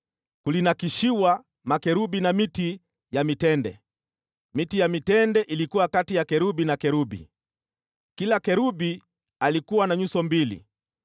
kulinakshiwa makerubi na miti ya mitende. Miti ya mitende ilikuwa kati ya kerubi na kerubi. Kila kerubi alikuwa na nyuso mbili: